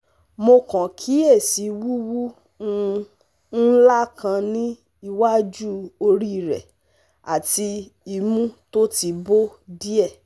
mo kàn kíyèsí wuwu um nla kan ni iwájú orí rẹ̀ àti imu to ti bo die